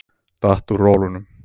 Datt úr rólunum.